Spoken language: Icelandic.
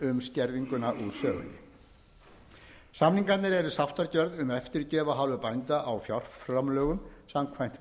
um skerðinguna úr sögunni samningarnir eru sáttargerð um eftirgjöf af hálfu bænda á fjárframlögum samkvæmt